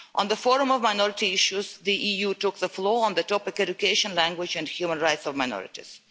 At the Forum on Minority Issues, the EU took the floor on the topic of education, language and the human rights of minorities.